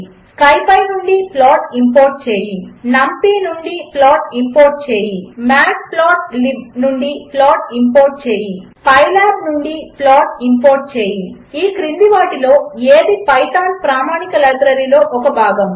● SciPy నుండి plot import చేయి ● NumPy నుండి ప్లాట్ ఇంపోర్ట్ చేయి ● మాట్ప్లాట్లిబ్ నుండి ప్లాట్ ఇంపోర్ట్ చేయి ● పైలాబ్ నుండి ప్లాట్ ఇంపోర్ట్ చేయి ●●● ఈ క్రింది వాటిలో ఏది పైథాన్ ప్రామాణిక లైబ్రరీలో ఒక భాగము